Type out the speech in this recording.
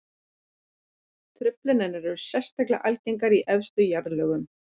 Truflanirnar eru sérstaklega algengar í efstu jarðlögunum.